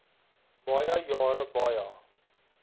baie jare baie